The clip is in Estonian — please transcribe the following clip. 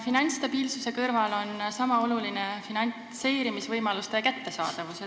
Finantsstabiilsuse kõrval on sama oluline finantseerimisvõimaluste kättesaadavus.